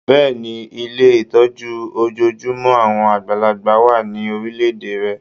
Bẹ́ẹ̀ni, Ilé ìtọ́jú ojojúmọ́ àwọn àgbàlagbà wà ní orílẹ̀-èdè rẹ